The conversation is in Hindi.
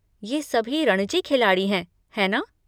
ये सभी रणजी खिलाड़ी हैं, है ना?